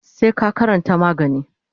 sai ka karanta magani.